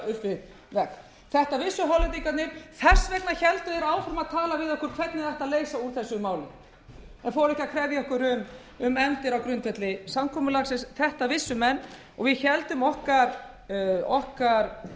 áfram að tala við okkur hvernig ætti að leysa úr þessu máli en fóru ekki að krefja okkur um endi á grundvelli samkomulagsins þetta vissu menn og við héldum okkar aðstöðu